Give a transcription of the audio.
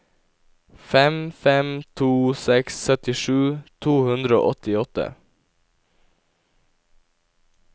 fem fem to seks syttisju to hundre og åttiåtte